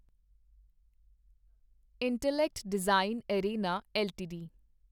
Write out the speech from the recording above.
intellect design arena LTD